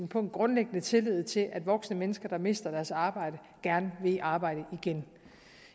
på en grundlæggende tillid til at voksne mennesker der mister deres arbejde gerne vil i arbejde igen